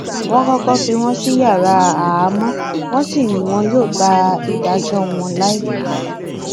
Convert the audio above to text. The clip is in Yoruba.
wọn kọkọ fi wọn sí yàrá àhámọ wọn sì ni wọn yóò gba ìdájọ wọn láìpẹ